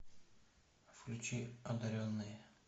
включи одаренные